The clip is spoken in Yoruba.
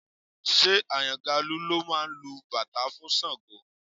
Ṣé Àyàngalú ló máa lu bàtá fún Ṣàngó?